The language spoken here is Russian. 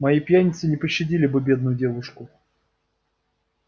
мои пьяницы не пощадили бы бедную девушку